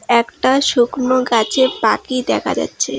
একটা শুকনো গাছে পাকি দেখা যাচ্ছে।